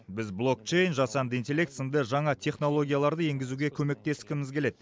біз блокчейн жасанды интеллект сынды жаңа технологияларды енгізуге көмектескіміз келеді